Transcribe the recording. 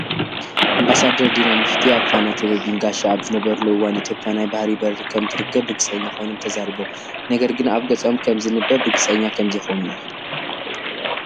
ኣምባዳደር ዲና ሙፍቲ ኣብ ፋና ቴሌቭዥን ጋሻ ኣብ ዝነበርሉ እዋን ኢትዮጵያ ናይ ባህሪ በሪ ከም ትረክብ ርግፀና ኾይኖም ተዛሪቦም። ነገር ግን ኣብ ገፆም ከም ዝንበብ ርግፀና ከም ዘይኾኑ እዩ።